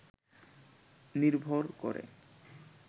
নির্ভর করে